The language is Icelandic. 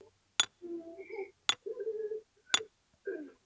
Guð hvað þið voruð sæt!